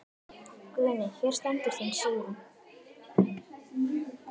Guðný: Hér stendur þín Sigrún?